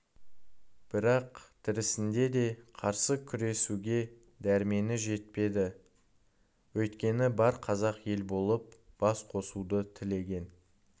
бірақ тірісінде де қарсы күресуге дәрмені жетпеді өйткені бар қазақ ел болып бас қосуды тілеген